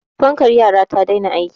fankar yara ta daina aiki